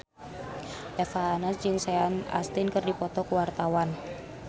Eva Arnaz jeung Sean Astin keur dipoto ku wartawan